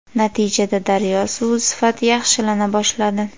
Natijada daryo suvi sifati yaxshilana boshladi.